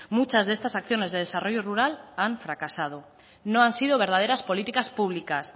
muchas de estas acciones de desarrollo rural han fracasado no han sido verdaderas políticas públicas